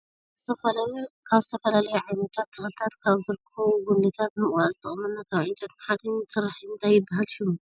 ካብ ዝተፈላለዩ ዓይነታት ተክልታት ካብ ዝርከቡ ተክልታት ጉንድታታ ንምቁራፅ ዝጠቅመና ካብ ዕንጨይትን ሓፂንን ዝስራሕ እዩ ። እንታይ ይብሃል ሽሙ ?